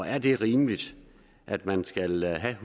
er det rimeligt at man skal have